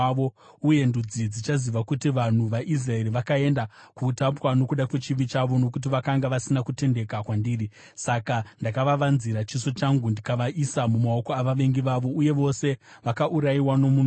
Uye ndudzi dzichaziva kuti vanhu vaIsraeri vakaenda kuutapwa nokuda kwechivi chavo, nokuti vakanga vasina kutendeka kwandiri. Saka ndakavavanzira chiso changu ndikavaisa mumaoko avavengi vavo, uye vose vakaurayiwa nomunondo.